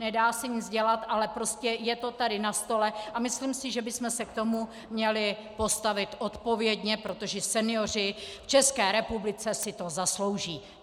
Nedá se nic dělat, ale prostě je to tady na stole a myslím si, že bychom se k tomu měli postavit odpovědně, protože senioři v České republice si to zaslouží.